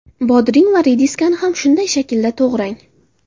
Bodring va rediskani ham shunday shaklda to‘g‘rang.